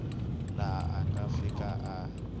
laha a nga fika a